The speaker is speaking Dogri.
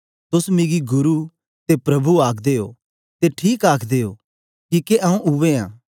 तोस मिगी गुरु ते प्रभु आखदे ओ ते ठीक आखदे ओ किके आऊँ उवै आं